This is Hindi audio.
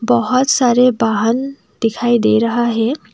बहुत सारे वाहन दिखाई दे रहा हैं।